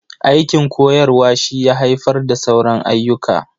Aikin koyarwa shi ya haifar da sauran ayyuka.